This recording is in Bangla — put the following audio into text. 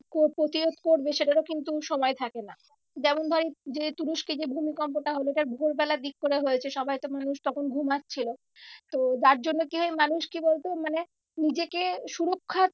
প্রতিরোধ করবে সেটারও কিন্তু সময় থাকে না। যেমন ধর এই যে তুরস্কে যে ভূমিকম্পটা হলো ওটা ভোর বেলার দিক করে হয়েছে। সবাই তো মানুষ তখন ঘুমাচ্ছিলো। তো যার জন্য কি হয় মানুষ কি বলতো মানে নিজেকে সুরক্ষা